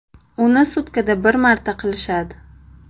Uni sutkada bir marta qilishadi.